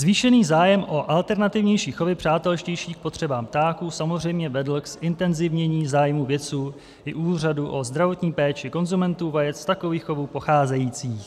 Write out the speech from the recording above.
Zvýšený zájem o alternativnější chovy, přátelštější k potřebám ptákům, samozřejmě vedl k zintenzivnění zájmu vědců i úřadů o zdravotní péči konzumentů vajec z takových chovů pocházejících.